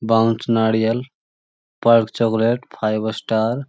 bounce नारियल Perk chocolate five star --